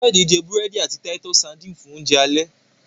Kayode jé burẹdi àti Titus sardines fun Oúnjẹ alẹ́.